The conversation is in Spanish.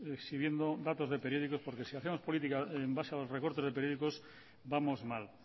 exhibiendo datos de periódicos porque si hacemos política en base a los recortes de periódicos vamos mal